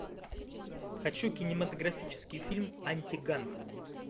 хочу кинематографический фильм антиганг